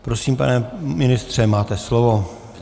Prosím, pane ministře, máte slovo.